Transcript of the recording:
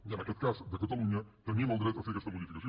i en aquest cas de catalunya tenim el dret a fer aquesta modificació